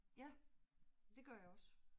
Ja, det gør jeg også